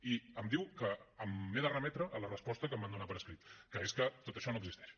i em diu que m’he de remetre a la resposta que em van donar per escrit que és que tot això no existeix